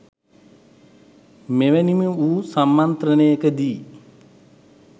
මෙවැනිම වූ සම්මන්ත්‍රණයක දී